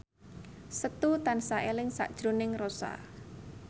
Setu tansah eling sakjroning Rossa